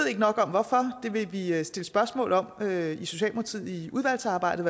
ikke nok om hvorfor det vil vi i socialdemokratiet stille spørgsmål om i udvalgsarbejdet